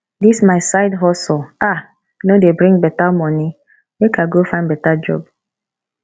dis my side hustle um no dey bring moni make i go find beta job